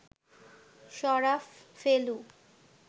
Sharaf, Felu